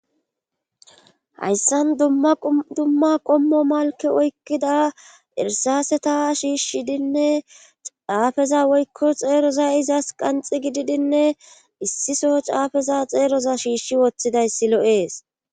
Hayssan dumma qommo malke oykkida irsaaseta shiishshidinne caafeza woykko xeeroza izas qanxi gididinne issiso caafeza xeeroza shiishshi woththidayssi lo'ees.